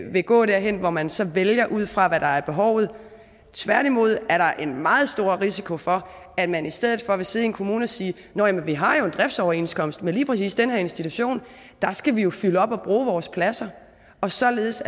vil gå derhen hvor man så vælger ud fra hvad der er behovet tværtimod er der en meget stor risiko for at man i stedet for vil sidde i en kommune og sige nå ja men vi har jo en driftsoverenskomst med lige præcis den her institution og der skal vi jo fylde op og bruge vores pladser og således